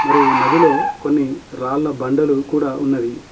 మరియు నదిలో కొన్ని రాళ్ల బండలు కూడా ఉన్నవి.